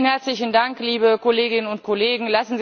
Vielen herzlichen Dank liebe Kolleginnen und Kollegen!